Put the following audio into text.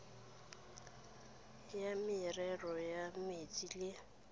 la merero ya metsi le